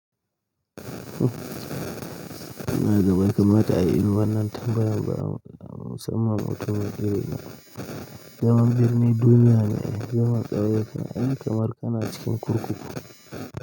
Ina zama kamar ta a wurin wannan tambayar ba'a ma musamman wata mai iri ɗaya. Zaman birni duniya ne, zaman tsaro yake, in kamar kana cikin kurkuku.